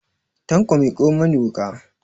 Tanko miƙo mani wuƙa!